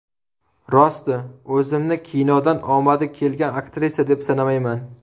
Rosti, o‘zimni kinodan omadi kelgan aktrisa, deb sanamayman.